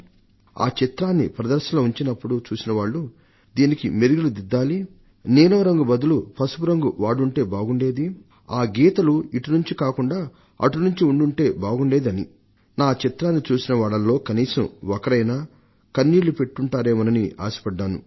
ఆ చిత్రాన్ని ప్రదర్శనలో ఉంచినప్పుడు చూసిన వాళ్లు దీనికి మెరుగులు దిద్దాలి నీలం రంగు బదులు పసుపు రంగు వాడుంటే బాగుండేది ఆ గీతలు ఇటునుంచి కాకుండా అటునుంచి ఉండుంటే బాగుండేది అని సూచనలు చేశారు నా చిత్రాన్ని చూసిన వాళ్లలో కనీసం ఒకరైనా కన్నీళ్లు పెట్టుకుంటారేమోనని ఆశపడ్డాను అన్నారు